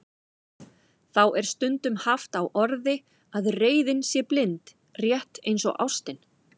Þá er stundum haft á orði að reiðin sé blind, rétt eins og ástin.